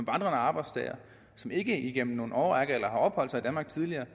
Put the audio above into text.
arbejdstager som ikke igennem en årrække har opholdt sig i danmark tidligere